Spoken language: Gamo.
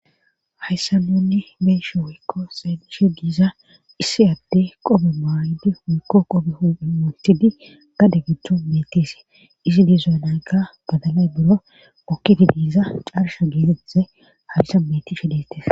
hayssa nunne bee'she woykko xeelishe diiza issi adde qophe maaydi woykko qophe huphen wotidi gade gidon bettise isi dizoyanayka badalay buro okkidi diiza carsha geezeeze halsa meti shi deettes